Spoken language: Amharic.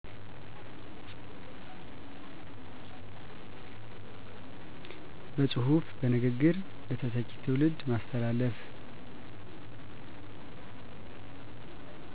በጹሑፍ፣ በንግግር ለተተኪ ትዉልድ ማስተላለፍ